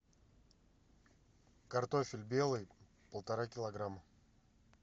картофель белый полтора килограмма